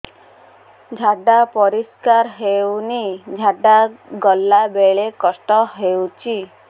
ଝାଡା ପରିସ୍କାର ହେଉନି ଝାଡ଼ା ଗଲା ବେଳେ କଷ୍ଟ ହେଉଚି